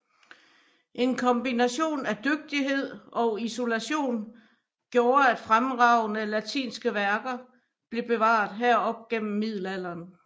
En kombination af dygtighed og isolation gjorde at fremragende latinske værker blev bevaret her op igennem middelalderen